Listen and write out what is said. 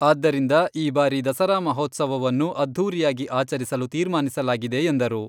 ಆದ್ದರಿಂದ ಈ ಬಾರಿ ದಸರಾ ಮಹೋತ್ಸವವನ್ನು ಅದ್ಧೂರಿಯಾಗಿ ಆಚರಿಸಲು ತೀರ್ಮಾನಿಸಲಾಗಿದೆ ಎಂದರು.